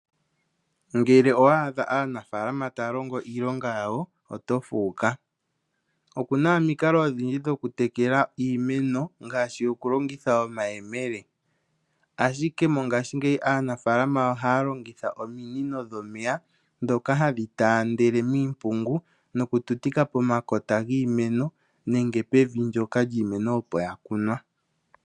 Ngele owa adha aanafaalama taya longo iilonga yawo oto fuuka. Okuna omikalo odhindji dhoku tekela iimeno ngaashi okulongitha omayemele . Ashike mongashingeyi aanafaalama ohaya longitha ominino dhomeya ndhoka hadhi taandele miimpungu nokututika pomakota giimeno nenge pevi ndyoka lyiimeno opo ya kunwa.